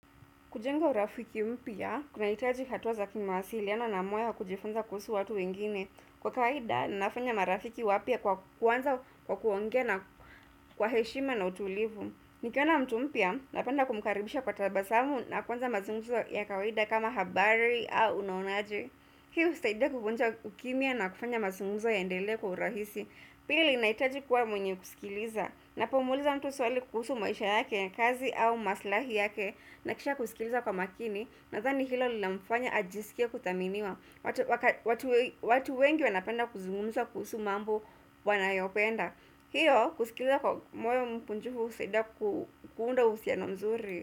Kujenga urafiki mpya, kuna hitaji hatuwa za kimawasiliano na moyo wakujifunza kuhusu watu wengine. Kwa kawaida, na nafanya marafiki wapya kwa kuwanza kwa kuongea na, kwa heshima na utulivu. Nikiona mtu mpya, napenda kumkaribisha kwa tabasamu na kwanza mazungumzo ya kawaida kama habari au unaonaje. Hi husaidia kuvunja ukimya na kufanya mazungumzo yaendelee kwa urahisi. Pili ninajitaji kuwa mwenye kusikiliza Napomuuliza mtu swali kuhusu maisha yake ya kazi au maslahi yake nahakikisha kusikiliza kwa makini Nadhani hilo lina mfanya ajisikie kuthaminiwa watu wengi wanapenda kuzungumza kuhusu mambo wanayopenda hiyo kusikiliza kwa moyo mkunjufu husaidia kuunda uhusiano mzuri.